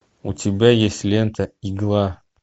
у тебя есть лента игла